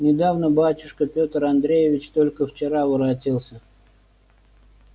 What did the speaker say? недавно батюшка петр андреевич только вчера воротился